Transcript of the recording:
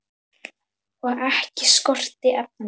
Og ekki skorti efni.